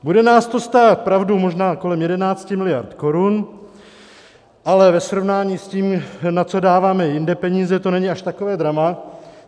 Bude nás to stát, pravda, možná kolem 11 miliard korun, ale ve srovnání s tím, na co dáváme jinde peníze, to není až takové drama.